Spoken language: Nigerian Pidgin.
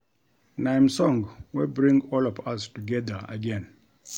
Na im song wey bring all of us together again